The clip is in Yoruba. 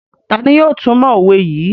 Tani yóò tumọ owe yii?